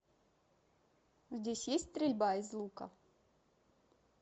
здесь есть стрельба из лука